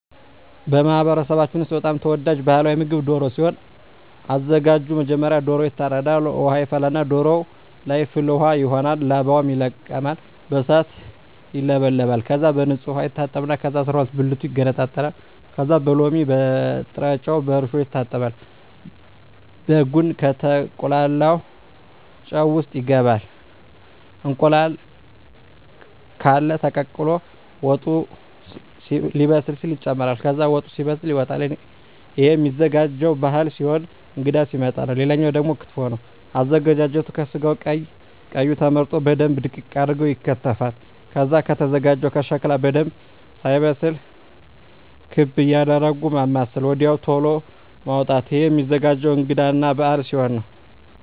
በማህበረሰባችን ውስጥ በጣም ተወዳጅ ባህላዊ ምግብ ደሮ ሲሆን አዘጋጁ መጀመሪያ ዶሮዎ ይታረዳል ውሃ ይፈላና ዶሮዎ ለይ ፍል ውሃው ይሆናል ላባው ይለቀማል በእሳት ይውለበለባል ከዛ በንጹህ ዉሃ ይታጠባል ከዛ አስራሁለት ብልቱ ይገነጣጠላል ከዛ በሎሚ በጭረጮ በእርሾ ይታጠባል በጉን ከተቁላላው ጨው ውሰጥ ይገባል እንቁላል ቃለ ተቀቅሎ ወጡ ሌበስል ሲል ይጨምራል ከዛ ወጡ ሲበስል ይወጣል እሄም ሚዘጋጀው ባህል ሲሆን እንግዳ ሲመጣ ነው ሌላው ደግሞ ክትፎ ነው አዘገጃጀቱ ከስጋው ቀይ ቀዩ ተመርጠው በደንብ ድቅቅ አርገው ይከተፋል ከዛ ከተዘጋጀው ሸክላ በደንብ ሳይበስል ክቤ እያረጉ ማማሰል ወድያው ተሎ ማዉጣት እሄም ሚዘገጀው እንግዳ እና በአል ሲሆን ነው